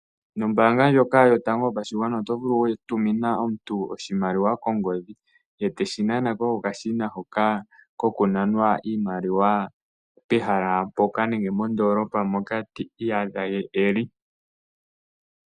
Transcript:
Nombanga ndjoka yotango yopashingwana oto vulu weyitumina omuntu oshimaliwa kongodhi , eteshi nanako kokashina hoka kokunanwa iimaliwa pehala poka nenge mondolopa moka ti iyadha eli.